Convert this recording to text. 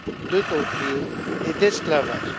de torture et d'esclavage.